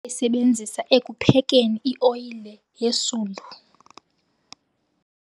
bayayisebenzisa ekuphekeni ioyile yesundu.